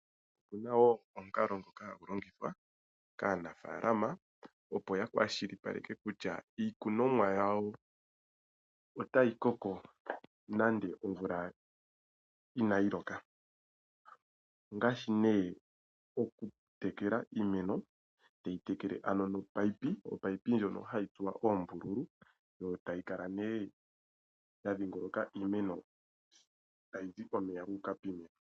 Opuna wo omikalo hagu longithwa kaanafaalama opo ya kwashilipaleke kutya iikunomwa yawo otayi koko nande omvula inayi loka ongaashi nee okutekela iimeno toyitekele ano nomunino, omunino ngono hagu tsuwa oombululu go tagu kala nee gwadhingoloka iimeno tayizi omeya guuka piimeno.